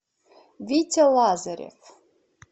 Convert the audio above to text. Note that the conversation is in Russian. витя лазарев